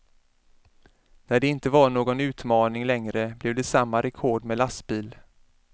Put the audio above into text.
När inte det var någon utmaning längre blev det samma rekord med lastbil.